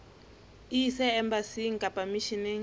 e ise embasing kapa misheneng